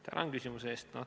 Tänan küsimuse eest!